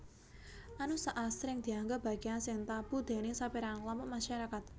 Anus asring dianggep bagéyan sing tabu déning sapérangan klompok masarakat